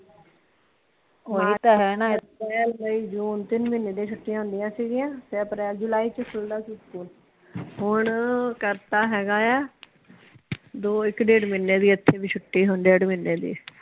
ਅਪ੍ਰੈਲ, ਮਈ, ਜੂਨ ਤਿੰਨ ਮਹੀਨਿਆਂ ਦੀ ਛੁੱਟੀਆਂ ਹੁੰਦੀਆਂ ਸੀ ਗੀ ਆ ਤੇ ਅਪ੍ਰੈਲ, ਜੁਲਾਈ ਚ ਖੁਲਦਾ ਸੀ ਸਕੂਲ ਹੁਣ ਕਰਤਾ ਹੇਗਾ ਆ ਦੋ ਇਕ ਡੇਢ ਮਹੀਨੇ ਦੀਆ ਇੱਥੇ ਵੀ ਛੁੱਟੀ ਹੁੰਦੀ ਡੇਢ ਮਹੀਨੇ ਦੀ।